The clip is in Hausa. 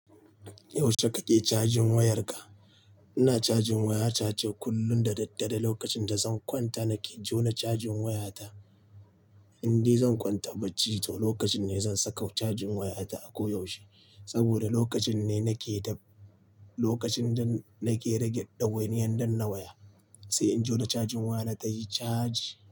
Yaushe kake cajin wayarka? Ina cajin waya ta ce kullum da daddare. Lokacin da zan kwanta nake jona cajin wayata. Inde zan kwanta bacci to lokacin ne zan saka cajin wayata a ko yaushe. Saboda lokacin ne nake da-- lokacin da nake rage ɗawainiyar danna waya. Sai in jona cajin waya na tayi caji.